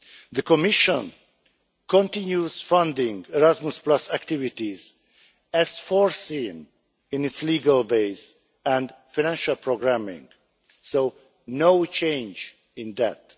The Commission continues funding Erasmus activities as foreseen in its legal base and financial programming, so no change in that.